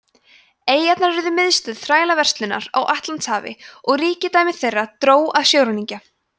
eyjarnar urðu miðstöð þrælaverslunarinnar á atlantshafi og ríkidæmi þeirra dró að sjóræningja